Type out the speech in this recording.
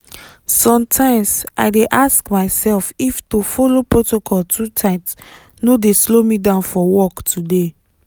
sometimes i dey ask myself if to follow protocol too tight no dey slow me down for work today.